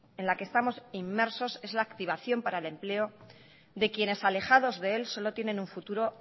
en la que estamos inmersos es la activación para el empleo de quienes alejados de él solo tienen un futuro